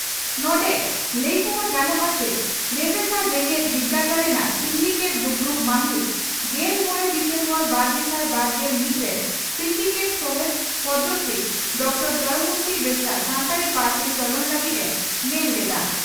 ᱱᱚᱸᱰᱮ ᱞᱟᱹᱭᱛᱚᱨᱟ ᱜᱟᱱᱚᱜᱼᱟ ᱪᱤ ᱨᱮᱵᱷᱮᱥᱟ ᱡᱮᱜᱮᱛ ᱵᱤᱨᱫᱟᱹᱜᱟᱲ ᱨᱮᱱᱟᱜ ᱥᱤᱱᱰᱤᱠᱮᱴ ᱫᱩᱯᱲᱩᱵ ᱢᱟᱦᱤᱛ ᱜᱮᱞ ᱢᱚᱲᱮ ᱰᱤᱥᱮᱢᱵᱚᱨ ᱵᱟᱨᱜᱮᱥᱟᱭ ᱵᱟᱨᱜᱮᱞ ᱢᱤᱛ ᱨᱮ ᱥᱤᱱᱰᱤᱠᱮᱴ ᱥᱚᱦᱮᱛ ᱯᱚᱫᱽᱢᱚᱥᱨᱤ ᱰᱨᱹ ᱫᱚᱢᱚᱭᱚᱱᱛᱤ ᱵᱮᱥᱨᱟ ᱥᱟᱱᱛᱟᱲᱤ ᱯᱟᱹᱨᱥᱤ ᱪᱚᱞᱚᱱ ᱞᱟᱹᱜᱤᱫ ᱮ ᱢᱮᱱ ᱞᱮᱫᱼᱟ ᱾